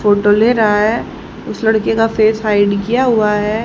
Photo ले रहा है उस लड़के का फेस हाइड किया हुआ है।